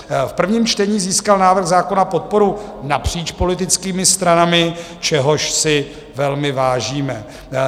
V prvním čtení získal návrh zákona podporu napříč politickými stranami, čehož si velmi vážíme.